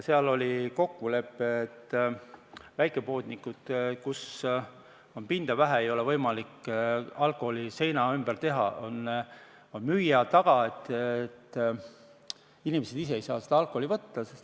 Seal oli kokkulepe, et väikepoodides, kus pinda on vähe ega ole võimalik alkoholile seina ümber teha, on alkohol müüja taga, nii et inimesed ise ei saa seda võtta.